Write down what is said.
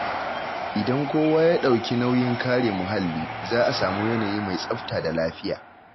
Idan kowa ya ɗauki nauyin kare muhalli, za a samu yanayi mai tsafta da lafiya.